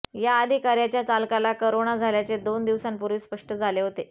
या अधिकार्याच्या चालकाला करोना झाल्याचे दोन दिवसांपूर्वी स्पष्ट झाले होते